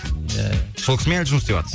ия ия сол кісімен жұмыс істеватсыз